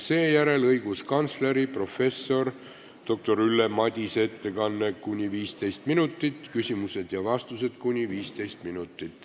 Seejärel on õiguskantsleri professor doktor Ülle Madise ettekanne ning küsimused ja vastused .